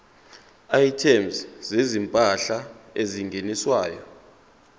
items zezimpahla ezingeniswayo